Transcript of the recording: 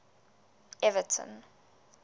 everton